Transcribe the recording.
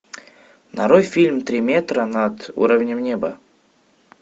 нарой фильм три метра над уровнем неба